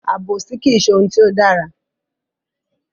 Àbòsí kìí ṣe ohun tí ó dára.